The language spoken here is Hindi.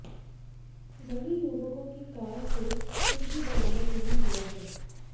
वहीं युवकों की कार से कुछ भी बरामद नहीं हुआ है